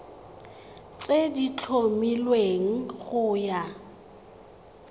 tse di tlhomilweng go ya